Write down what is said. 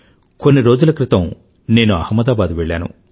కొన్ని రోజుల క్రితం నేను అహ్మదాబాద్ వెళ్ళాను